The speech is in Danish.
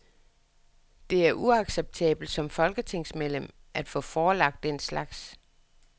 Det er uacceptabelt som folketingsmedlem at få forelagt den slags.